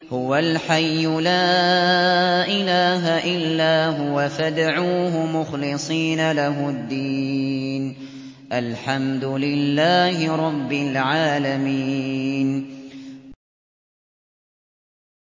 هُوَ الْحَيُّ لَا إِلَٰهَ إِلَّا هُوَ فَادْعُوهُ مُخْلِصِينَ لَهُ الدِّينَ ۗ الْحَمْدُ لِلَّهِ رَبِّ الْعَالَمِينَ